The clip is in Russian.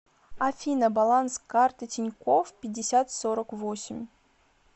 афина баланс карты тинькофф пятьдесят сорок восемь